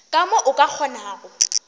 ka mo o ka kgonago